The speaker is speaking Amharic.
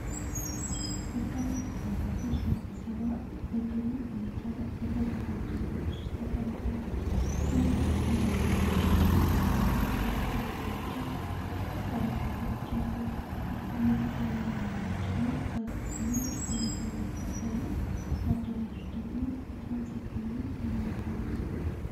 በርካታ ተሳታፊዎች ለስብሰባ በግሩም ሁኔታ በተዘጋጀ አዳራሽ ውስጥ ተቀምጠዋል። ሁሉም በንግድ ልብሶች ላይ ሲሆኑ፣ ከፊት ለፊታቸው ጥቁር ጠረጴዛዎች አሉ። የካሜራ ባለሙያዎችና ጋዜጠኞች በመሃል ላይ ሲታዩ፣ አዳራሹ ደግሞ በጣም ሰፊና የሚያምር ነው።